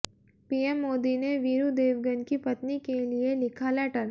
PM Modi ने वीरू देवगन की पत्नी के लिए लिखा लेटर